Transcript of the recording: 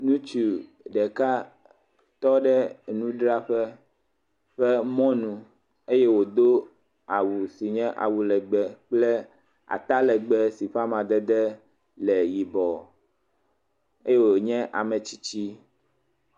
Ŋutsu ɖeka tɔ ɖe enudzraƒe ƒe mɔnu eye wòdo awu si nye awu lɛgbɛ kple atalɛgbɛ si ƒe amadede le yibɔ eye wònye ame tsitsi.